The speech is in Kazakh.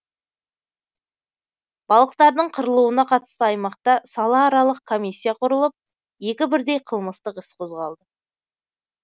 балықтардың қырылуына қатысты аймақта салааралық комиссия құрылып екі бірдей қылмыстық іс қозғалды